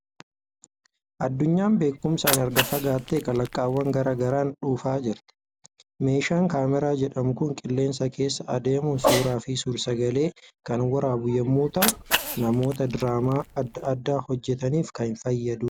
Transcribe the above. Addunyaan beekumsaan erga fagaattee kalaqawwan garaa garaan dhufaa jirti. Meeshaan kaameraa jedhamu kun qolleensa keessa adeemuun suuraa fi suur-sagalee kan waraabu yommuu ta'u, namoota diraamaa adda addaa hojjetaniif kan fayyadudha.